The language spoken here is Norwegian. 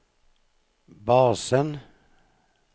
basen